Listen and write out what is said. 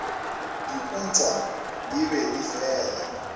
diputswa di be di fela